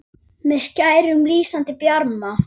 með skærum, lýsandi bjarma